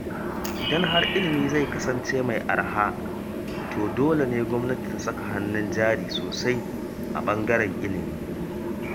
Idan har ilimi zai kasance mai araha, to dole ne gwamnati ta saka hannun jari sosai a ɓangaren ilimi.